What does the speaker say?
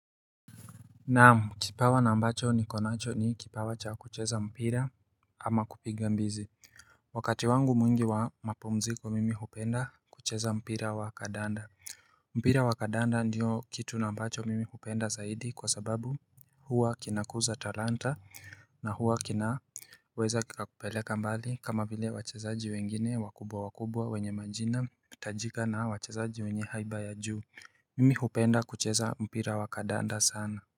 Naam kipawa na ambacho ni konacho ni kipawa cha kucheza mpira ama kupiga mbizi Wakati wangu mwingi wa mapumziko mimi hupenda kucheza mpira wa kadanda mpira wa kadanda ndio kitu na ambacho mimi hupenda zaidi kwa sababu huwa kinakuza taranta na huwa kina weza kikakupeleka mbali kama vile wachezaji wengine wakubwa wakubwa wenye majina tajika na wachezaji wenye haiba ya juu Mimi hupenda kucheza mpira wa kadanda sana.